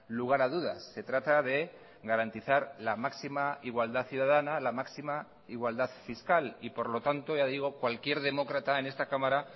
lugar a dudas se trata de garantizar la máxima igualdad ciudadana la máxima igualdad fiscal y por lo tanto ya digo cualquier demócrata en esta cámara